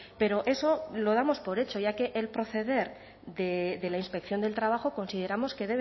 pero eso lo damos por hecho ya que el proceder de la inspección de trabajo consideramos que